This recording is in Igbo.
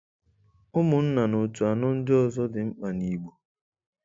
Ụmụnna na otu anọ ndị ọzọ dị mkpa na Igbo